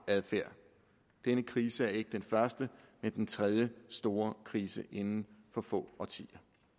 adfærd denne krise er ikke den første men den tredje store krise inden for få årtier